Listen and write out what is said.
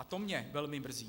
A to mě velmi mrzí.